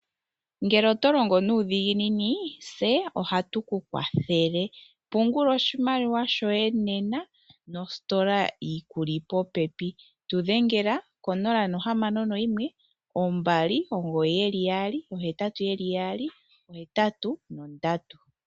Ngele otolongo nuudhiginini tse ohagu kukwathela. Pungula oshimaliwa shoye nena mositola yili popepi. Tudhengela ko 061 2998883